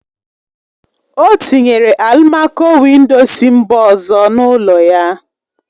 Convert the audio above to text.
O tinyere alụmaco-windo si mba ọzọ n'ụlọ ya